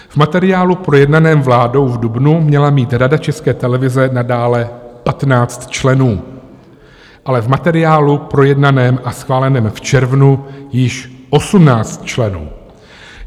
V materiálu projednaném vládou v dubnu měla mít Rada České televize nadále 15 členů, ale v materiálu projednaném a schváleném v červnu již 18 členů.